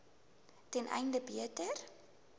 ten einde beter